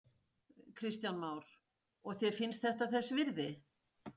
Kristján Már: Og þér finnst þetta þess virði?